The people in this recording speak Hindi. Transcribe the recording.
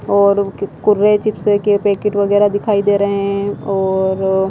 और कुर्रे चिप्स के पैकेट वगैरह दिखाई दे रहे हैं और --